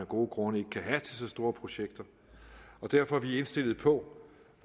gode grunde ikke kan have til så store projekter derfor er vi indstillet på